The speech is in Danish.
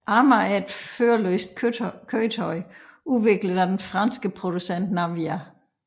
Arma er et førerløst køretøj udviklet af den franske producent Navya